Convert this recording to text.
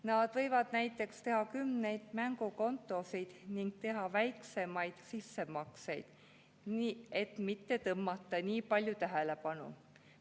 Nad võivad näiteks teha kümneid mängukontosid ning teha väiksemaid sissemakseid, et mitte tõmmata nii palju tähelepanu.